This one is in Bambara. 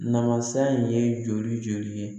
Namasa in ye joli joli ye